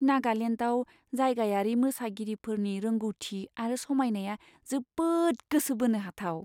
नागालेन्डआव जायगायारि मोसागिरिफोरनि रोंग'थि आरो समायनाया जोबोद गोसो बोनो हाथाव!